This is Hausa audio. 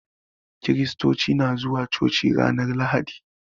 Kristoci na zuwa coci ranar lahadi